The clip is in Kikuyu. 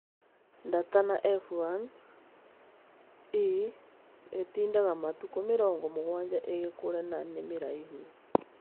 Datana F1; -e ĩtindaga matukũ mĩrongo mũgwanja ĩgĩkũre na nĩ mĩraihu